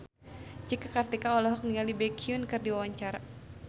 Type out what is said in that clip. Cika Kartika olohok ningali Baekhyun keur diwawancara